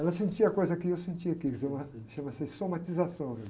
Ela sentia a coisa que eu sentia aqui, chama-se somatização.